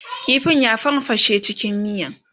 kifin ya farfashe cikin miyan?